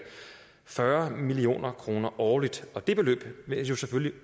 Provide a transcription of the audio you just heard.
fyrre million kroner årligt og det beløb vil jo selvfølgelig